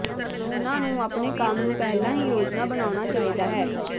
ਉਨ੍ਹਾਂ ਨੂੰ ਆਪਣੇ ਕੰਮ ਨੂੰ ਪਹਿਲਾਂ ਹੀ ਯੋਜਨਾ ਬਣਾਉਣਾ ਚਾਹੀਦਾ ਹੈ